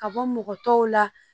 Ka bɔ mɔgɔ tɔw la